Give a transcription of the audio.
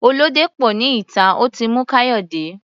Olóde pò ní ìta, ó ti mú Kayode.